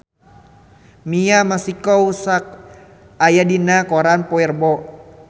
Mia Masikowska aya dina koran poe Rebo